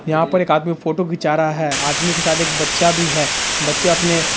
यहाँ पर एक आदमी फोटो खिंचा रहा है आदमी के साथ एक बच्चा भी है बच्चे अपने --